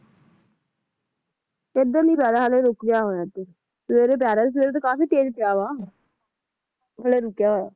ਇੱਧਰ ਨਹੀਂ ਪੈ ਰਿਹਾ, ਹਾਲੇ ਰੁਕ ਗਿਆ ਹੋਇਆ ਇਧਰ, ਸਵੇਰੇ ਪੈ ਰਿਹਾ ਸੀ, ਸਵੇਰੇ ਤਾਂ ਕਾਫੀ ਤੇਜ਼ ਪਿਆ ਵਾ